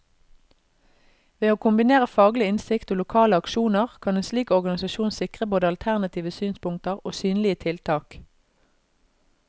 Ved å kombinere faglig innsikt og lokale aksjoner, kan en slik organisasjon sikre både alternative synspunkter og synlige tiltak.